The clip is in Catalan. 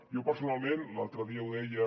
jo personalment l’altre dia ho deia